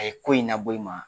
ko in na bɔ i maa